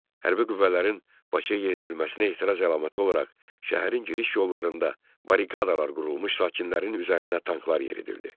Hərbi qüvvələrin Bakıya yeridilməsinə etiraz əlaməti olaraq şəhərin giriş yollarında barikadalar qurulmuş, sakinlərin üzərinə tanklar yeridildi.